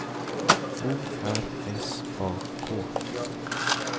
O R S A K